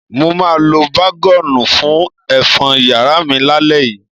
Mo máa lo bágọ́ọ̀nù fún ẹ̀fọ́n yàrá mi lálẹ́ yìí.